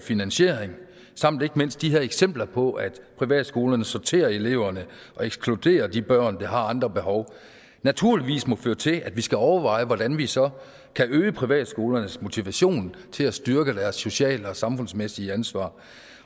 finansiering samt ikke mindst de her eksempler på at privatskolerne sorterer i eleverne og ekskluderer de børn der har andre behov naturligvis må føre til at vi skal overveje hvordan vi så kan øge privatskolernes motivation til at styrke deres sociale og samfundsmæssige ansvar